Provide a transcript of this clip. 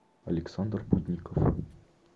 александр путников